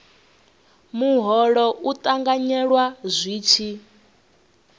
muholo u ṱanganyelwa zwi tshi